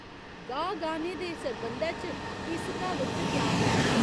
गाह् गाह्‌ने दे सरबंधै च इस क्हावत च ज्ञान ऐ.